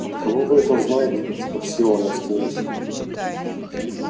от кого вы это знаете спросила она смеясь